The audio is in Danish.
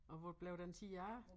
Og hvor blev den tid af?